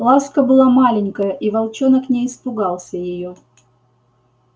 ласка была маленькая и волчонок не испугался её